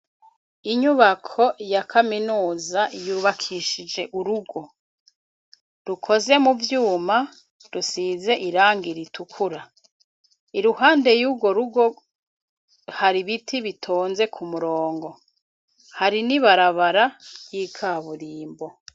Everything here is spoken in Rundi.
Inyubako ya kaminuza yubakishije urugo rukoze mu vyuma, rusize irangi ritukura. Iruhande y'uwo rugo hari biti bitonze ku murongo. Hari n'ibarabara y'ikaburimbo.